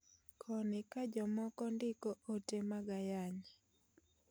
Koni ka jomoko ndiko oote mag ayany.